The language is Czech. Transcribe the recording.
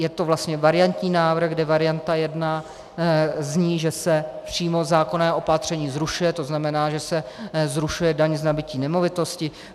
Je to vlastně variantní návrh, kde varianta 1 zní, že se přímo zákonné opatření zrušuje, to znamená, že se zrušuje daň z nabytí nemovitosti.